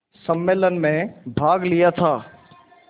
सम्मेलन में भाग लिया था